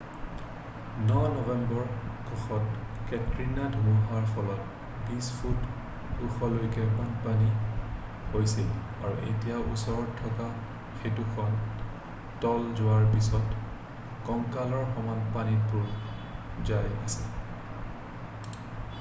ন নম্বৰ কক্ষত কেটৰিনা ধুমুহাৰ ফলত 20 ফুট ওখলৈকে বানপানী হৈছিল আৰু এতিয়া ওচৰত থকা সেতুখন তল যোৱাৰ পিছত কঁকালৰ সমান পানীত বুৰ যাই আছে